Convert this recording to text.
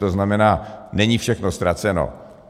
To znamená, není všechno ztraceno.